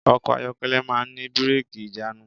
Ọkọ̀ ayọ́kẹ́lẹ̀ máà ń ní bírẹ́kì/ìjánu.